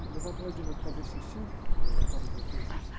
Levantava de noite para fazer xixi, levantava de noite para fazer xixi.